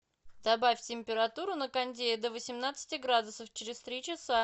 добавь температуру на кондее до восемнадцати градусов через три часа